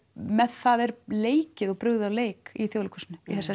með það er leikið og brugðið á leik í